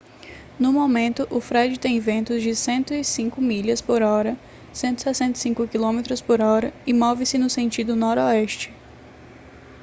no momento o fred tem ventos de 105 milhas por hora 165 km por hora e move-se no sentido noroeste